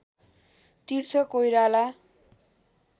Tirtha Koirala